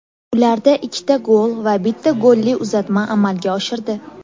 Ularda ikkita gol va bitta golli uzatma amalga oshirdi.